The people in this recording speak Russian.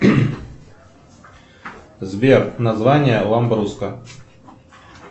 сбер название ламбруско